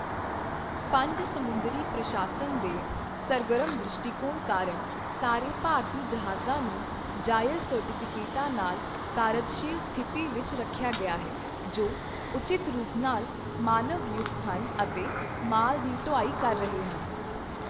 ਪੰਜ ਸਮੁੰਦਰੀ ਪ੍ਰਸ਼ਾਸਨ ਦੇ ਸਰਗਰਮ ਦ੍ਰਿਸ਼ਟੀਕੋਣ ਕਾਰਨ ਸਾਰੇ ਭਾਰਤੀ ਜਹਾਜ਼ਾਂ ਨੂੰ ਜਾਇਜ਼ ਸਰਟੀਫਿਕੇਟਾਂ ਨਾਲ ਕਾਰਜਸ਼ੀਲ ਸਥਿਤੀ ਵਿੱਚ ਰੱਖਿਆ ਗਿਆ ਹੈ, ਜੋ ਉਚਿਤ ਰੂਪ ਨਾਲ ਮਾਨਵ ਯੁਕਤ ਹਨ ਅਤੇ ਮਾਲ ਦੀ ਢੁਆਈ ਕਰ ਰਹੇ ਹਨ।